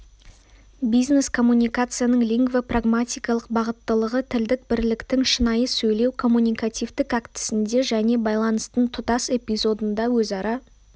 бизнес-коммуникацияның лингвопрагматикалық бағыттылығы тілдік бірліктің шынайы сөйлеу-коммуникативтік актісінде және байланыстың тұтас эпизодында өзара